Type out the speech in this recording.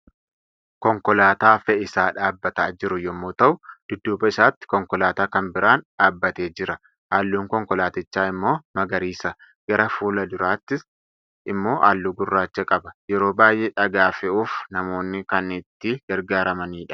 Konkolaataa fe'isaa dhaabataa jiru yommuu ta'u, dudduuba isaatti konkolaataa kan biraan dhaabbatee jira. Halluun konkolaatichaa immoo magariisa. Gara fulduraatiin immoo halluu gurraacha qaba. Yeroo baay'ee dhagaa fe'uuf namoonni kan itti gargaaramanidha.